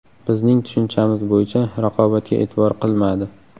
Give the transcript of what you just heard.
Bizning tushunchamiz bo‘yicha raqobatga e’tibor qilmadi”.